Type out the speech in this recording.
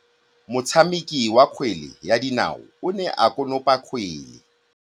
Motshameki wa kgwele ya dinaô o ne a konopa kgwele.